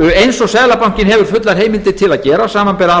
eins og seðlabankinn hefur fullar heimildir til að gera samanber aðra